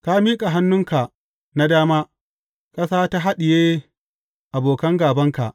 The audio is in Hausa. Ka miƙa hannunka na dama, ƙasa ta haɗiye abokan gābanka.